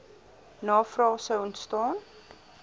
navrae sou ontstaan